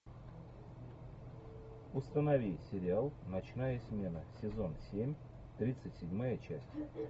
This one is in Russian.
установи сериал ночная смена сезон семь тридцать седьмая часть